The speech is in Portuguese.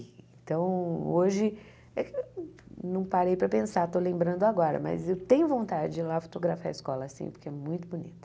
Então, hoje, não parei para pensar, estou lembrando agora, mas eu tenho vontade de ir lá fotografar a escola sim, porque é muito bonita.